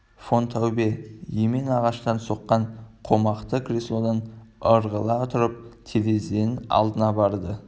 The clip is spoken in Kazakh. фон таубе емен ағаштан соққан қомақты креслодан ырғала тұрып терезенің алдына барды